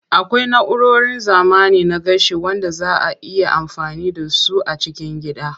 Akwai na'urorin zamani na gashi wanda zaa a iya amfani da su a cikin gida.